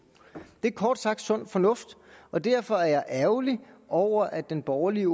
det er kort sagt sund fornuft og derfor er jeg ærgerlig over at den borgerlige